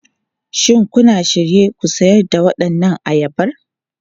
Shin kuna shirye ku sayar da waɗannan ayaba?